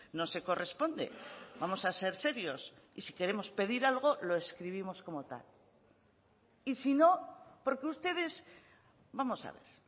no se corresponde vamos a ser serios y si queremos pedir algo lo escribimos como tal y si no porque ustedes vamos a ver